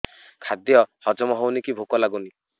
ଖାଦ୍ୟ ହଜମ ହଉନି କି ଭୋକ ଲାଗୁନି